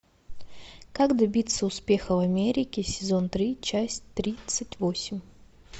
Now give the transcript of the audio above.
как добиться успеха в америке сезон три часть тридцать восемь